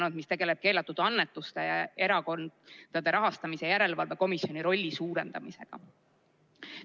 Eelnõu tegeleb keelatud annetustega, samuti Erakondade Rahastamise Järelevalve Komisjoni rolli suurendamisega.